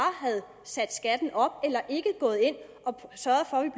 havde sat skatten op